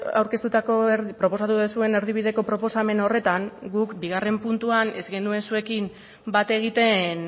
aurkeztutako proposatu duzuen erdibideko proposamen horretan guk bigarren puntuan ez genuen zuekin bat egiten